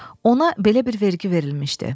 Ona belə bir vergi verilmişdi.